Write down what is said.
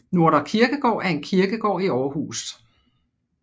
Nordre Kirkegård er en kirkegård i Aarhus